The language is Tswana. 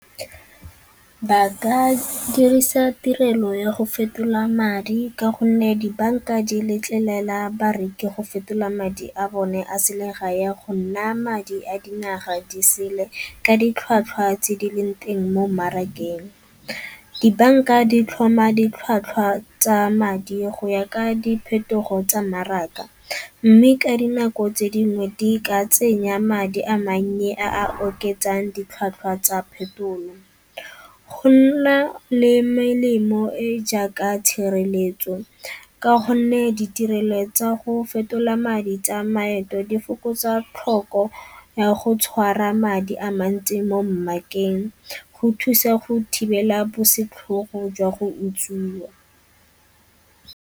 Ba ka dirisa tirelo ya go fetola madi ka gonne dibanka di letlelela bareki go fetola madi a bone a selegae ya gonna madi a dingwaga di sele ka ditlhwatlhwa tse di leng teng mo mmarakeng. Dibanka di tlhoma ditlhwatlhwa tsa madi go ya ka diphetogo tsa mmaraka mme ka dinako tse dingwe di ka tsenya madi a mannye a a oketsang ditlhwatlhwa tsa phetolo. Go nna le melemo e jaaka tshireletso ka gonne ditirelo tsa go fetola madi tsa maeto di fokotsa tlhoko ya go tshwara madi a mantsi mo go thusa go thibela bosetlhogo jwa go utswiwa.